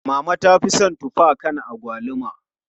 Mama ta fi son tuffa akan agwaluma.